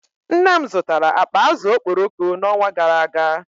Nne m zụtara akpa azụ̀ okporoko n’ọnwa gara aga